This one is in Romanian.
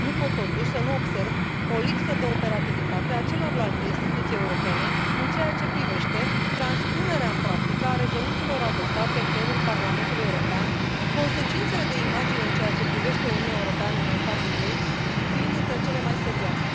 Nu pot totuși să nu observ o lipsă de operativitate a celorlalte instituții europene în ceea ce privește transpunerea în practică a rezoluțiilor adoptate în plenul Parlamentului European, consecințele de imagine în ceea ce privește Uniunea Europeană în ansamblul ei fiind dintre cele mai serioase.